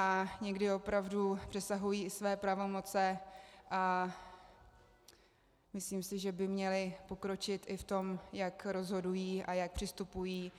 A někdy opravdu přesahují i své pravomoce a myslím si, že by měly pokročit i v tom, jak rozhodují a jak přistupují